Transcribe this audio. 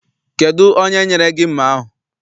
Kedụ onye nyere gị mma ahụ?